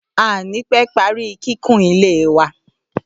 À ò ní pé parí kíkun ilé wa